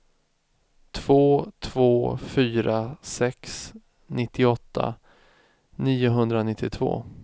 två två fyra sex nittioåtta niohundranittiotvå